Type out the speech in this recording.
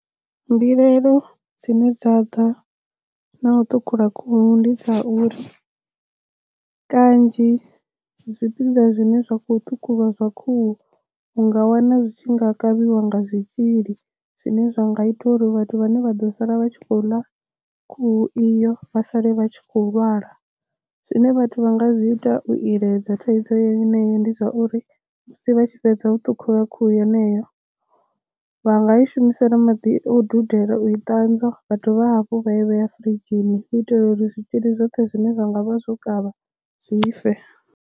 Mbilaelo dzine dza ḓa na u ṱhukhula khuhu ndi dza uri kanzhi zwipiḓa zwine zwa khou ṱhukhulwa zwa khuhu u nga wana zwi tshi nga kavhiwa nga zwitzhili. Zwine zwa nga ita uri vhathu vhane vha ḓo sala vha tshi khou ḽa khuhu iyo vha sale vha tshi khou lwala zwine vhathu vha nga zwi ita u iledza thaidzo yeneyo ndi zwa uri musi vha tshi fhedza u ṱhukhula khuhu yeneyo vha nga i shumisela maḓi o dudela u i ṱanzwa vha dovha hafhu vha i vhea furidzhini u itela uri zwitzhili zwoṱhe zwine zwa ngavha zwo kavha zwi fe.